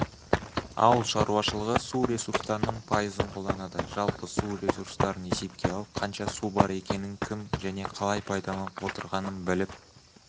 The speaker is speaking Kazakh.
ауыл шаруашылығы су ресурстарының пайызын қолданады жалпы су ресурстарын есепке алып қанша су бар екенін кім және қалай пайдаланып отырғанын біліп